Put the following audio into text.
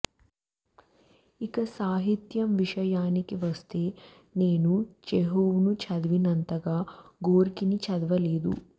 ఇక సాహిత్యం విషయానికి వస్తే నేను చెహోవ్ను చదివినంతగా గోర్కీని చదవలేదు